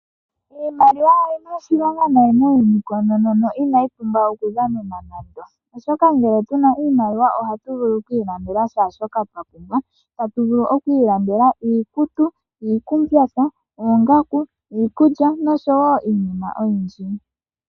Iimaliwa oyi na oshilonga noonkondo no inayi pumbwa okudhanenwa nande, oshoka ngele tu na iimaliwa ohatu vulu okuilandela kehe shoka twa pumbwa tatu vulu okuilandela iikutu, iikumbyatha, oongaku, iikulya nosho iinima oyindji.